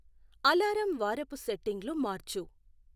alarm వారపు సెట్టింగ్లు మార్చు